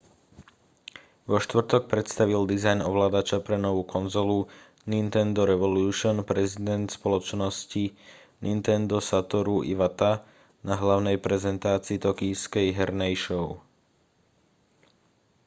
vo štvrtok predstavil dizajn ovládača pre novú konzolu nintendo revolution prezident spoločnosti nintendo satoru iwata na hlavnej prezentácii tokijskej hernej show